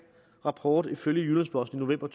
rapport ifølge jyllands posten november